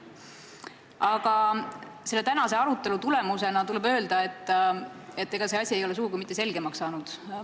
Aga selle tänase arutelu põhjal tuleb öelda, et see asi ei ole sugugi mitte selgemaks saanud.